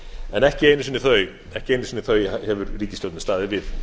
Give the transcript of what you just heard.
en ekki einu sinni þau hefur ríkisstjórnin staðið við